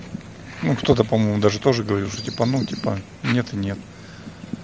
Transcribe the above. ну кто-то по-моему даже тоже говорил что типа ну типа нет и нет